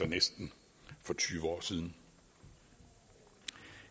næsten tyve år siden